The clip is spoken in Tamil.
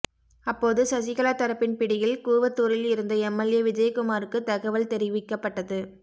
அப்போது சசிகலா தரப்பின் பிடியில் கூவத்தூரில் இருந்த எம்எல்ஏ விஜயகுமாருக்கு தகவல் தெரிவிக்கப்பட்டது